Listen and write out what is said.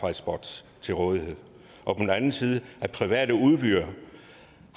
hotspots til rådighed og på den anden side at private udbydere